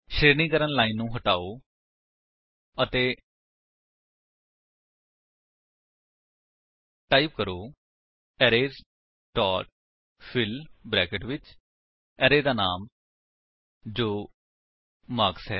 ਸ਼ਰੇਣੀਕਰਣ line ਨੂੰ ਹਟਾਓ ਅਤੇ ਟਾਈਪ ਕਰੋ ਅਰੇਜ਼ ਡੋਟ ਫਿੱਲ ਬਰੈਕੇਟਸ ਵਿੱਚ ਅਰੇ ਦਾ ਨਾਮ ਜੋ ਮਾਰਕਸ ਹੈ